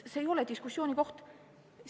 See ei ole diskussiooni teema.